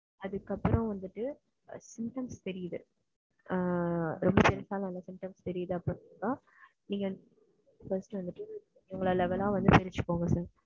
அதுக்கு அப்புறம் வந்துட்டு symptoms தெரியுது. ஆஹ் ரெம்ப symptoms தெரியுது அப்படின்னா நீங்க just வந்துட்டு sir.